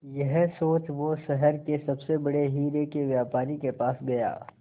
यह सोच वो शहर के सबसे बड़े हीरे के व्यापारी के पास गया